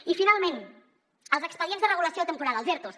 i finalment els expedients de regulació temporal els ertos